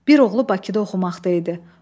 Bir oğlu Bakıda oxumaqda idi.